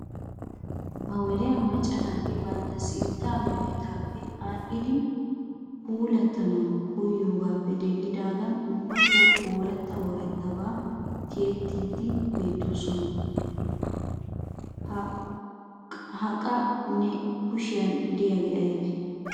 Ha wodiya macca naati bantta sintta meretaappe aadhdhi puulatanawu koyyidoogappe denddidaagan ubbatoo oorata ooratabaa tiyettiidi beettoosna. Ha qa na'ee kushiyan diyaage aybee?